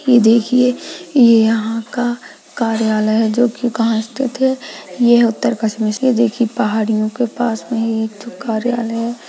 ये देखिये ये यहाँ का कार्यालय है जोकि कहा स्थित है यह उत्तरकाशी में इसलिए देखिये पहाड़ियों के पास में ही एक तो कार्यालय है।